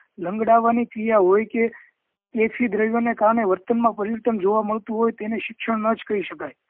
લંગડાવાની ક્રિયા હોય કે ને કારણે વર્તન માં પરિવર્તન જોવા મળતું હોય તેને શિક્ષણ ના જ કહી શકાય